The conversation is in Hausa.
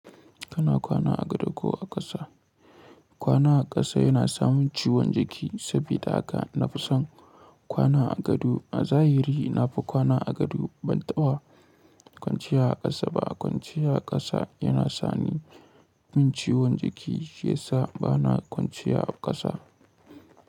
Kana kwana a gado ko a ƙasa? Kwana a ƙasa yana samun ciwon jiki saboda haka na fi son kwana a gado. A zahiri na fi kwana a gado ban taba kwanciya a ƙasa ba. Kwanciya a ƙasa yana sani min ciwon jiki shiyasa bana kwanciya a ƙasa.